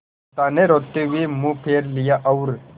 कांता ने रोते हुए मुंह फेर लिया और